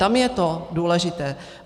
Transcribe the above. Tam je to důležité.